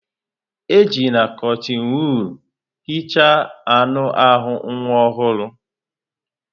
Ejila kọtịn wọọl hicha anụ ahụ nwa ọhụrụ.